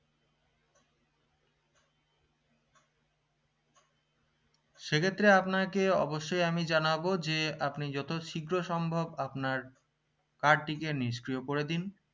সেক্ষেত্রে আপনাকে অবশ্যই আমি জানাবো যে আপনি যত শীঘ্র সম্ভব আপনার card টিকে নিষ্ক্রিয় করে দিন